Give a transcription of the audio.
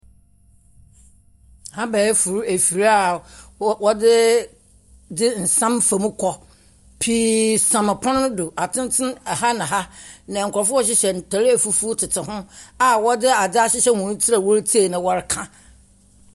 Abɛɛfo afir a wɔ wɔdze dze nsa fam kɔ. Pii sɛn pon no do. Atenten aha ne aha. Na nkurɔfoɔ a wɔhyehyɛ ntar afufuo tete ho a wɔdze adze ahyehyɛ hɔn tsi na wɔretie na wɔreka.